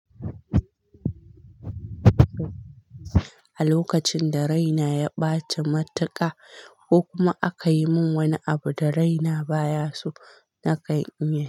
A lokacin da raina ya ɓaci matuƙa, ko kuma aka yi min wani abu da raina baya so, na kan yi.